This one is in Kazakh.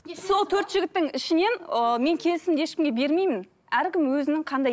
сол төрт жігіттің ішінен ыыы мен келісімді мен ешкімге бермеймін әркім өзінің қандай